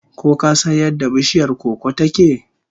Ko ka san yadda bishiyar koko ta ke?